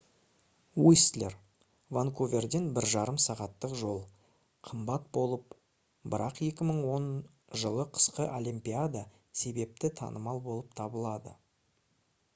уистлер ванкуверден 1,5 сағаттық жол қымбат болып бірақ 2010 жылы қысқы олимпиада себепті танымал болып табылады